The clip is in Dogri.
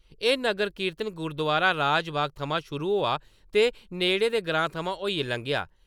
एह् नगर कीर्तन गुरुद्वारा राजबाग थमां शुरु होआ ते नेह्ड़े‌ दे ग्राएं थमां होइयै लंग्घेआ।